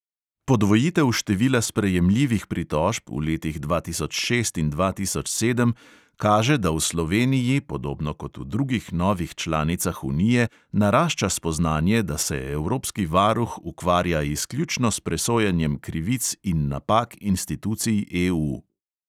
Podvojitev števila sprejemljivih pritožb v letih dva tisoč šest in dva tisoč sedem kaže, da v sloveniji, podobno kot v drugih novih članicah unije, narašča spoznanje, da se evropski varuh ukvarja izključno s presojanjem krivic in napak institucij EU.